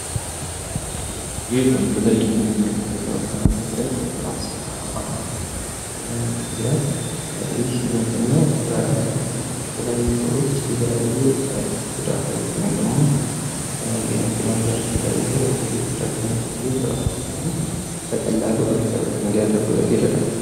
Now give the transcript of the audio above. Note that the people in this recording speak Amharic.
ይህ በምስሉ ላይ የምንመለከተው ህብረት ዒንሹራንስ አማ ይላል። ይህም ምንድን ነው በተለያዩ ሰዎች የተላየ ጉዳትዎች ወይንም ደሞ መኪናም ሊሆን ይቻላል ላይ የተላየ ክስረት በሚደርስባቸው ጊዜ በቀላሉ ሪከቨር እንዲያደርጉ ይረዳቸዋል።